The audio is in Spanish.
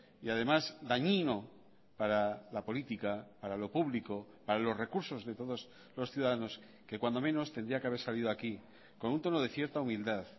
y además dañino para la política para lo público para los recursos de todos los ciudadanos que cuando menos tendría que haber salido aquí con un tono de cierta humildad